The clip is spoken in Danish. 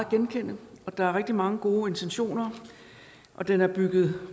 genkende og der er rigtig mange gode intentioner og den er bygget